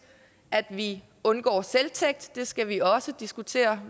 at vi undgår selvtægt det skal vi også diskutere